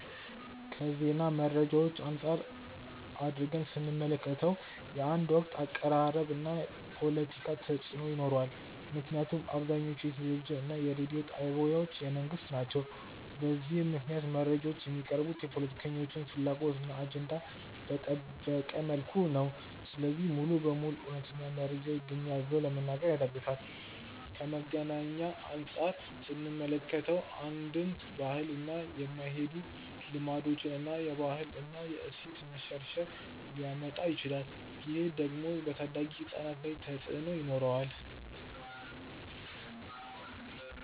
ከዜና መረጃዎች አንፃር አድርገን ስንመለከተው። የአንድ ወገን አቀራረብ እና ፖለቲካ ተፅእኖ ይኖረዋል ምክንያቱም አብዛኞቹ የቴሌቪዥን እና የሬዲዮ ጣቢያዎች የመንግስት ናቸው። በዚህም ምክንያት መረጃዎች የሚቀርቡት የፖለቲከኞችን ፍላጎት እና አጀንዳ በጠበቀ መልኩ ነው። ስለዚህ ሙሉ በሙሉ እውነተኛ መረጃ ይገኛል ብሎ ለመናገር ያዳግታል። ከመዝናኛ አንፃር ስንመለከተው። ከአንድን ባህል ጋር የማይሄዱ ልማዶችን እና የባህል እና የእሴት መሸርሸር ሊያመጣ ይችላል። ይህ ደግሞ በታዳጊ ህፃናት ላይ ተፅእኖ ይኖረዋል።